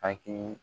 Aki